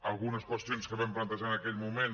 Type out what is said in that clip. algunes qüestions que vam plantejar en aquell moment